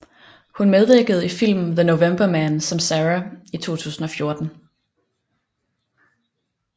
Hun medvirkende i filmen The November Man som Sarah i 2014